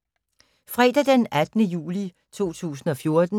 Fredag d. 18. juli 2014